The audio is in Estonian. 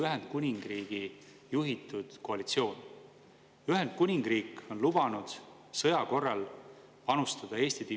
Alkoholi puhul tõuseb aktsiisimäär koos juba kehtestatud tõusudega 2025. aastal 5%, 2026. aastal 10% ning 2027. ja 2028. aastal mõlemal 5%.